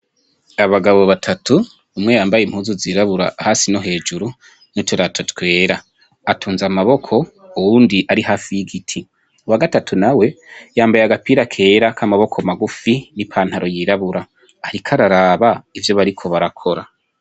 Abagabo batatu, umwe yambaye impuzu zirabura hasi no hejuru n'uturato twera atunze amaboko uwundi ari hafi y'igiti, uwa gatatu nawe yambaye agapira kera kamaboko magufi n'ipantaro yirabura, ariko araraba ivyo bariko barakora.